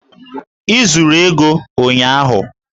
I zuru ego ụnyahụ!